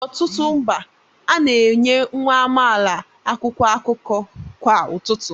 N'ọtụtụ mba, a na-enye nwa amaala akwụkwọ akụkọ kwa ụtụtụ